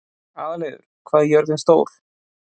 Aðalheiður, hvað er jörðin stór?